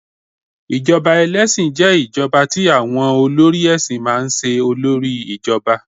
ijoba ẹlẹsin je ijoba ti awọn olórí èsìn ma n se olori ijoba